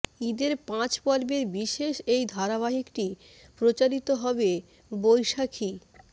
ঈদের পাঁচ পর্বের বিশেষ এই ধারাবাহিকটি প্রচারিত হবে বৈশাখী